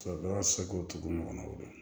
seko tugu ɲɔgɔnna o la